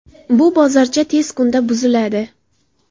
Bu bozorcha tez kunda buziladi.